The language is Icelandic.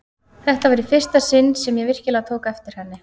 Þetta var í fyrsta sinn sem ég virkilega tók eftir henni.